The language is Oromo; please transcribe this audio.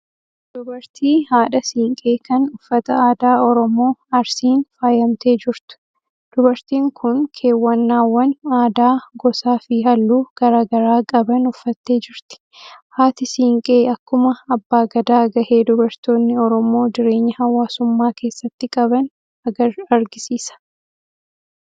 Dubartii haadha siinqee kan uffata aadaa Oromoo Arsiin faayamtee jirtu. Dubartiin kun keewwannaawwan aadaa gosaa fi halluu garaa garaa qaban uffattee jirti. Haati siinqee akkuma abbaa gadaa gahee dubartoonni Oromoo jireenya hawaasummaa keessatti qaban argisiisa.